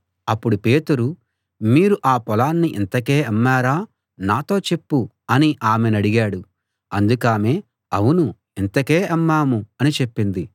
అప్పుడు పేతురు మీరు ఆ పొలాన్ని ఇంతకే అమ్మారా నాతో చెప్పు అని ఆమెనడిగాడు అందుకామె అవును యింతకే అమ్మాము అని చెప్పింది